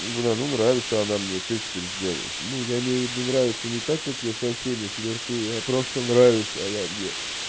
бля ну нравится она мне что теперь сделаешь ну я имею в виду нравится не так как я со всеми флиртую а просто нравится она мне